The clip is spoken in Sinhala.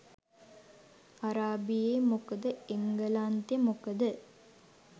අරාබියෙ මොකද එංගලන්තෙ මොකද